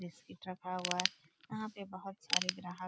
Biscuit रखा हुआ हैं। यहाँ पे बहुत सारे ग्राहक --